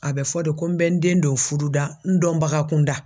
A bɛ fɔ de ko n bɛ n den dɔw furu da n dɔnbaga kunda.